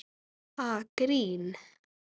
Ha, grín?